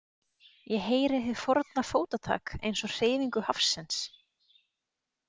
Ég heyri hið forna fótatak eins og hreyfingu hafsins.